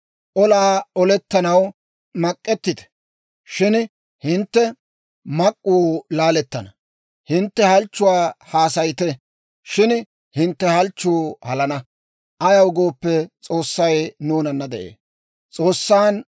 Olaa olettanaw mak'ettite; shin hintte mak'k'uu laalettana; hintte halchchuwaa haasayite; shin hintte halchchuwaa halana; ayaw gooppe, S'oossay nuunana de'ee.